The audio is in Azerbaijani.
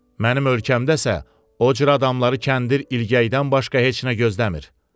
Mənim ölkəmdəsə, o cür adamları kəndir ilgəkdən başqa heç nə gözləmir.